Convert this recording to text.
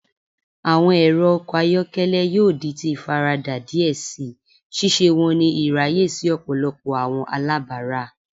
Awọn ẹrọ ọkọ ayọkẹlẹ yoo di ti ifarada diẹ sii, ṣiṣe wọn ni iraye si ọpọlọpọ awọn alabara.